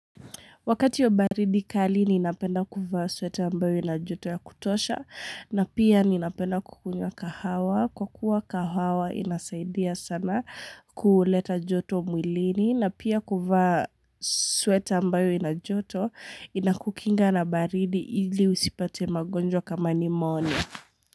Wakati wa baridi kali ninapenda kuvaa sweta ambayo ina joto ya kutosha na pia ninapenda kukunywa kahawa kwa kuwa kahawa inasaidia sana kuleta joto mwilini na pia kuvaa sweta ambayo ina joto inakukinga na baridi ili usipate magonjwa kama pheumonia.